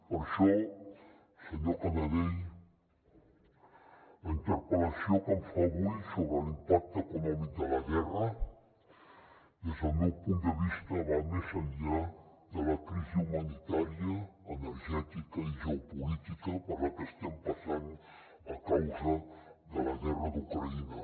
per això senyor canadell la interpel·lació que em fa avui sobre l’impacte econòmic de la guerra des del meu punt de vista va més enllà de la crisi humanitària energètica i geopolítica per la que estem passant a causa de la guerra d’ucraïna